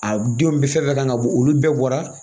A denw bɛ fɛn fɛn kan ka bɔ olu bɛɛ bɔra